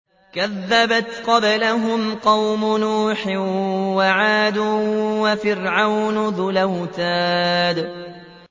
كَذَّبَتْ قَبْلَهُمْ قَوْمُ نُوحٍ وَعَادٌ وَفِرْعَوْنُ ذُو الْأَوْتَادِ